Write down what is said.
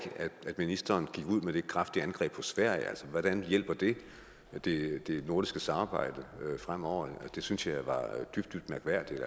at ministeren gik ud med det kraftige angreb på sverige hvordan hjælper det det nordiske samarbejde fremover det synes jeg var dybt dybt mærkværdigt